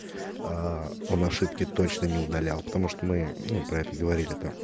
аа он ошибки точно не удалял потому что мы ну про это говорили там